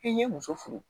I ye muso furu